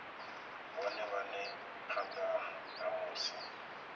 vhone vhane phanda ha musi